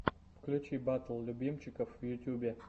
включи батл любимчиков в ютубе